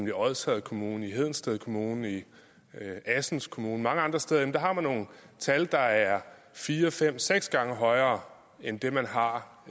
i odsherred kommune i hedensted kommune i assens kommune og mange andre steder har man nogle tal at der er fire fem seks gange højere end det man har